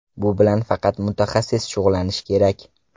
Bu bilan faqat mutaxassis shug‘ullanishi kerak!